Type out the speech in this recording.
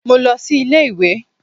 Mo lọ sí ilé ìwé.